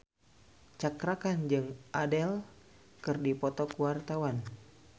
Cakra Khan jeung Adele keur dipoto ku wartawan